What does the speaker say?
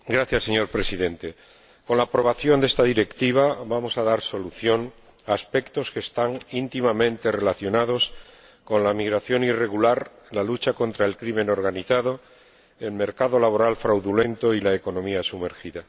Señor Presidente, con la aprobación de esta Directiva vamos a dar solución a aspectos que están íntimamente relacionados con la migración irregular, la lucha contra la delincuencia organizada, el mercado laboral fraudulento y la economía sumergida.